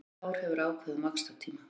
Allt hár hefur ákveðinn vaxtartíma.